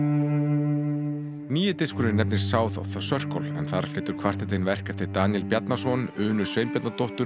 nýi diskurinn nefnist South of the Circle en þar flytur kvartettinn verk eftir Daníel Bjarnason Unu Sveinbjarnardóttur